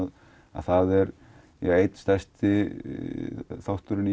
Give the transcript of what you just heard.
að það er einn stærsti þátturinn